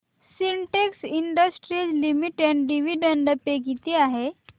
Sintex industries limited dividend pay किती आहे